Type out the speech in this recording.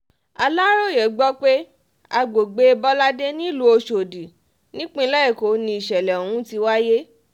aláròye gbọ́ pé àgbègbè bọládé nílùú ọ̀ṣọ́dì nípínlẹ̀ èkó ni ìṣẹ̀lẹ̀ ọ̀hún ti wáyé